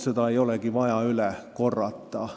Seda kõike ei ole vaja üle korrata.